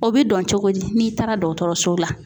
O bɛ dɔn cogo di ? N'i taara dɔgɔtɔrɔso la ?